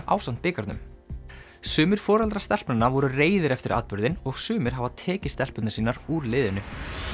ásamt bikarnum sumir foreldrar stelpnanna voru reiðir eftir atburðinn og sumir hafa tekið stelpurnar sínar úr liðinu